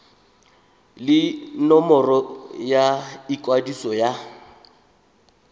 le nomoro ya ikwadiso ya